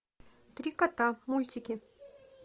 три кота мультики